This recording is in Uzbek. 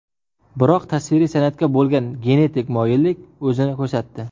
Biroq tasviriy san’atga bo‘lgan genetik moyillik o‘zini ko‘rsatdi.